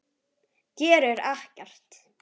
Gerir ekkert.